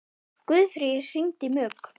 Guðfríður, hringdu í Mugg.